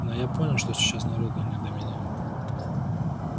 но я понял что сейчас народу не до меня